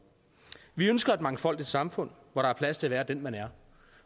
vi ønsker et mangfoldigt samfund hvor der er plads til at være den man er